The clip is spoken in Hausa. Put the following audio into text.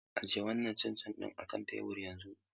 Ajiye wannan cin cin ɗin a kan tebur yanzu!